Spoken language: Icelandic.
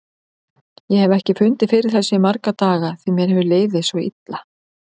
Ég hef ekki fundið fyrir þessu í marga daga því mér hefur liðið svo illa.